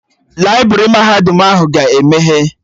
Laibrị mahadum ahụ ga-emeghe